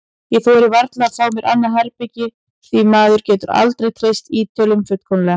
Ég þori varla að fá mér annað herbergi því maður getur aldrei treyst Ítölunum fullkomlega.